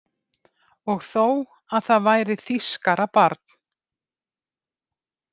Og þó að það væri þýskarabarn.